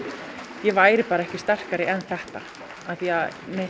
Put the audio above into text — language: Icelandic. ég væri ekki sterkari en þetta því